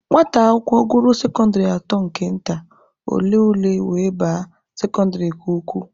Nwata akwụkwọ gụruo sekọndịrị atọ nke nta, ọ lee ule were baa sekọndịrị nke ukwu.